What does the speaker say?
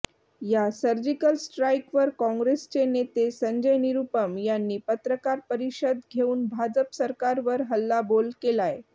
या सर्जिकल स्ट्राईकवर काँग्रेसचे नेते संजय निरुपम यांनी पत्रकार परिषद घेऊन भाजप सरकारवर हल्लाबोल केलाय